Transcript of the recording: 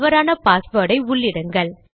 தவறான பாஸ்வேர்டை உள்ளிடுங்கள்